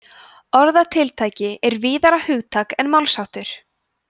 orðatiltæki er víðara hugtak en málsháttur